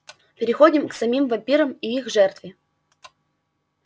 переходим к самим вампирам и их жертве